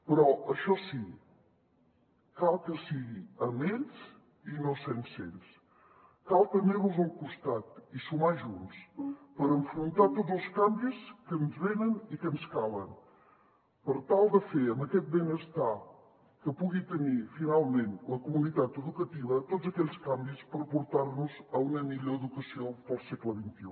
però això sí cal que sigui amb ells i no sense ells cal tenir los al costat i sumar junts per enfrontar tots els canvis que ens venen i que ens calen per tal de fer amb aquest benestar que pugui tenir finalment la comunitat educativa tots aquells canvis per portar nos a una millor educació per al segle xxi